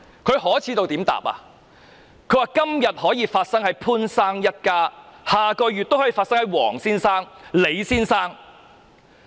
她說："今天可以發生在潘先生一家，下個月也可以發生在黃先生、李先生。